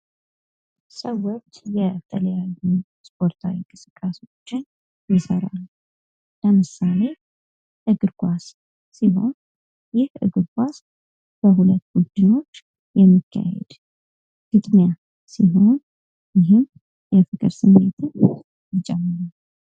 ሰዎች የተለያዩ ስፓርታዊ እንቅስቃሴዎችን ይሰራሉ ለምሳሌ እግር ኳስ ሲሆን ይህ እግር ኳስ በሁለት ቡድኖች የሚካሄድ ግጥሚያ ሲሆን ይህም የፍቅር ስሜትን ይጨምራል።